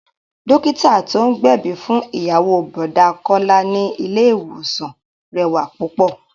Dókítà tí ó gbẹ̀bí fún ìyàwó Bọ̀dá Kọ́lá ni ilé ìwòsàn rẹwà púpọ̀